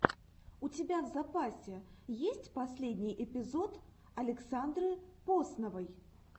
у тебя в запасе есть последний эпизод александры посновой